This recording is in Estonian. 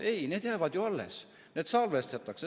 Ei, need jäävad ju alles, need salvestatakse.